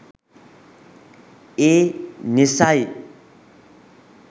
ඒ නිසයි.